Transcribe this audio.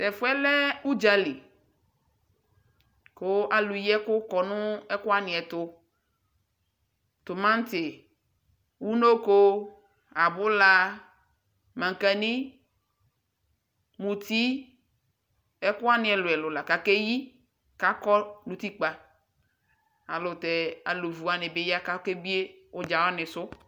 Tɛ fu yɛ lɛ udzali ku alu yi ɛku kɔ nu ɛku wani ɛtu Tumati unoko abula maŋkani muti ɛkuwani ɛluɛlu la ku akeyi Ku akɔ nu utikpa Alu vu wani bi ya ku akebie udzawani su